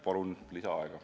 Palun lisaaega!